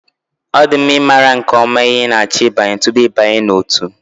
Ọ dị mma ịmara nke ọma ihe ị na-achọ ịbanye tupu ịbanye n'ótú